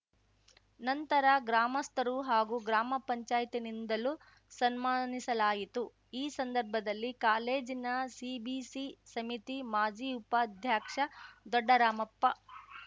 ನಂತರ ಗ್ರಾಮಸ್ಥರು ಹಾಗೂ ಗ್ರಾಮ ಪಂಚಾಯ್ತಿನಿಂದಲೂ ಸನ್ಮಾನಿಸಲಾಯಿತು ಈ ಸಂದರ್ಭದಲ್ಲಿ ಕಾಲೇಜಿನ ಸಿಬಿಸಿ ಸಮಿತಿ ಮಾಜಿ ಉಪಾಧ್ಯಕ್ಷ ದೊಡ್ಡರಾಮಪ್ಪ